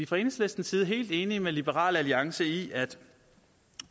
fra enhedslistens side helt enige med liberal alliance i at